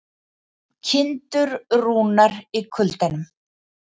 Kindur rúnar í kuldanum